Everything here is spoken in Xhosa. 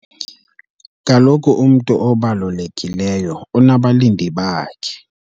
Kaloku umntu obalulekileyo unabalindi bakhe.